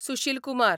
Sushil Kumar